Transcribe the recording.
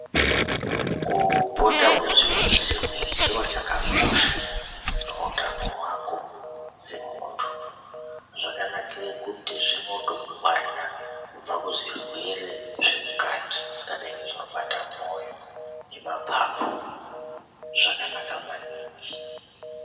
Kupota wechigwinyisa mwiri chiro chakakosha, pautano hwako semuntu. Zvakanakire kuti zvinotokungwarira kubva kuzvirwere zvemukati, zvakadai ngezvinobata moyo nemapapu, zvakanaka maningi.